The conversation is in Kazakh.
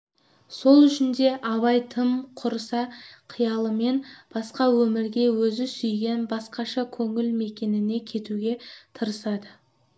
сол үшін де абай тым құрыса қиялымен басқа өмірге өзі сүйген басқаша көңіл мекеніне кетуге тырысады